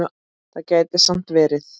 Það gæti samt verið.